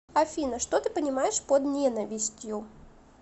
афина что ты понимаешь под ненавистью